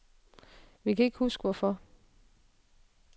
Vi kan ikke huske hvorfor.